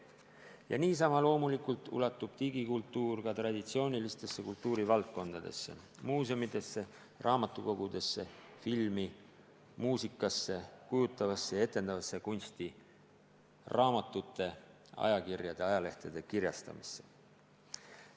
Ja niisama loomulikult ulatub digikultuur ka traditsioonilistesse kultuurivaldkondadesse: muuseumidesse, raamatukogudesse, filmi, muusikasse, kujutavasse ja etendavasse kunsti, raamatute, ajalehtede ja ajakirjade kirjastamisse.